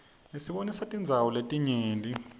isibonisa tindzawo letinyenti